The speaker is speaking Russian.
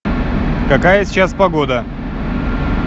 какая сейчас погода